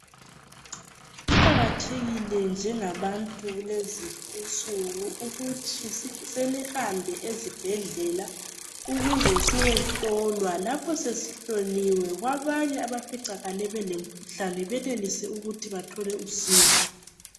Kuqakathekile njengabantu kulezinsuku ukuthi sihambe ezibhedlela ukuze siyehlolwa lapho sesihloliwe kwabanye abaficakale belemkhuhlane benelise ukuthola usizo.